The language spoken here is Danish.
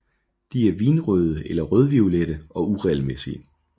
De er vinrøde eller rødviolette og uregelmæssige